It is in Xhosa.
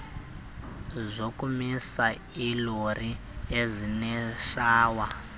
zokumisa iilori ezineshawa